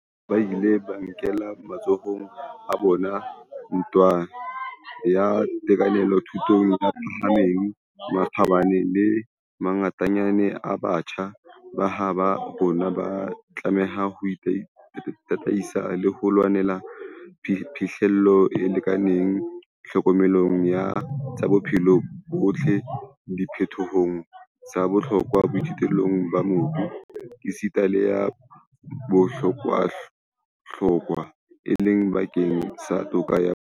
Jwaloka ha ba ile ba e nkela matsohong a bona ntwa ya tekano thutong e phahameng, makgabane a mangatanyana a batjha ba habo rona a tlameha ho tataisetswa ho lwaneleng phihlello e lekanang tlhokomelong ya tsa bophelo bo botle, diphetohong tsa bohlokwa boithuelong ba mobu, esita le ya bohlokwahlokwa, e leng bakeng sa toka ya bong.